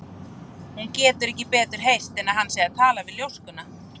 Hún getur ekki betur heyrt en hann sé að tala við ljóskuna.